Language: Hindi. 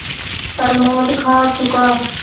प्रमोद खा चुका